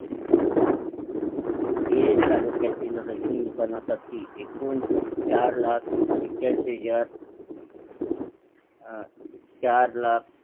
तालुक्यातील रेशन दुकानासाठी एकूण चार लाख एक्याऐंशी हजार चार लाख